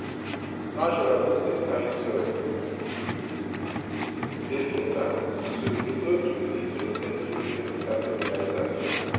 naturally dis kind soil um dey fertile so e no too need expensive chemical fertilizers.